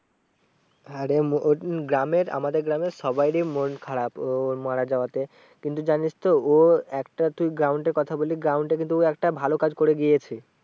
গ্রামের আমাদের গ্রামের সবাই এরই মন খারাপ ও মারা যাওয়াতে। কিন্তু জানিস তো ও একটা তুই ground এ কথা বলি ground এ কিন্তু ও একটা ভালো কাজ গিয়েছে।